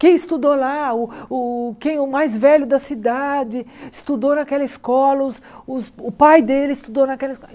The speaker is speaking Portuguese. Quem estudou lá, o o quem é o mais velho da cidade estudou naquela escola, os os o pai dele estudou naquela